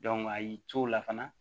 a y'i co la fana